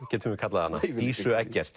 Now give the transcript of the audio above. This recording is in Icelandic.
getum við kallað hana Dísu Eggerts